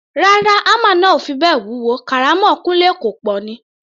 Rárá, hámà náà ò fi bẹ́ẹ̀ wúwo, kàrámọ̀ Kúńlé kọ̀ pọ̀ ni.